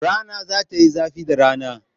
Rana za ta yi zafi da rana.